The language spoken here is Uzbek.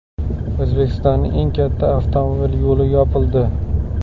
O‘zbekistonning eng katta avtomobil yo‘li yopildi.